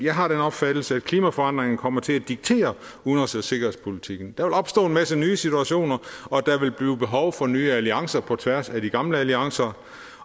har den opfattelse at klimaforandringerne kommer til at diktere udenrigs og sikkerhedspolitikken der vil opstå en masse nye situationer og der vil blive behov for nye alliancer på tværs af de gamle alliancer